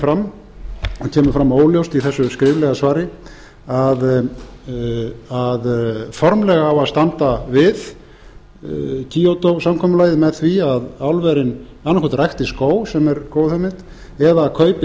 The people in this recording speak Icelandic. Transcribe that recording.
kemur fram óljóst í þessu skriflega svari að formlega á að standa við kvóta samkomulagið með því að álverin annað hvort rækti skóg sem er góð hugmynd eða kaupi